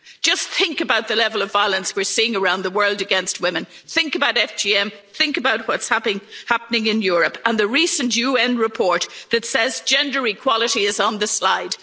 Just think about the level of violence we are seeing around the world against women, think about FGM, think about what's happening in Europe, and the recent UN report that says gender equality is on